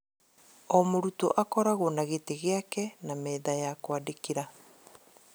O murutwo akoragwo na gĩtĩ gĩake na metha ya kwandĩkĩra